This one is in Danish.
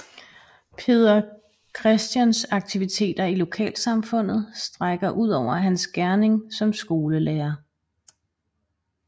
Peder Christians aktiviteter i lokalsamfundet strækker udover hans gerning som skolelærer